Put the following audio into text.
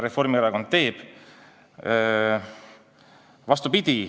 Tegelikult on vastupidi.